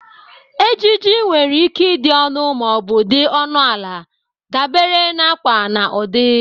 Ejiji nwere ike ịdị ọnụ ma ọ bụ dị ọnụ ala dabere na akwa na ụdị.